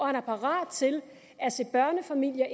han er parat til at se børnefamilier